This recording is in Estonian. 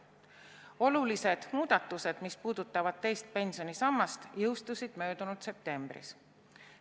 Olulised muudatused, mis puudutavad teist pensionisammast, jõustusid möödunud septembris.